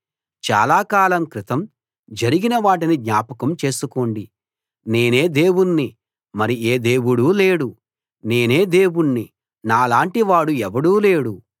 చాల కాలం క్రితం జరిగిన వాటిని జ్ఞాపకం చేసుకోండి నేనే దేవుణ్ణి మరి ఏ దేవుడూ లేడు నేనే దేవుణ్ణి నాలాంటి వాడు ఎవడూ లేడు